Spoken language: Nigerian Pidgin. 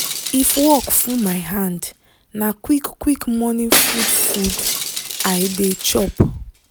if work full my hand na quick quick morning food food i dey chop